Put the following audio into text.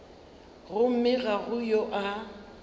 gomme ga go yo a